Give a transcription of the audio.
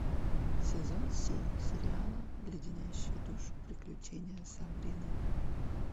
сезон семь сериала леденящие душу приключения сабрины